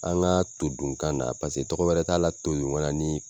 An ka todunkan na paseke tɔgɔ wɛrɛ t'a la todunkan na ni